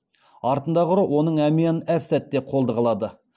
артындағы ұры оның әмиянын әп сәтте қолды қылады